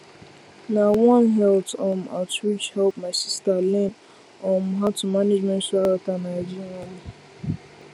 na one health um outreach help my sister learn um how to manage menstrual health and hygiene um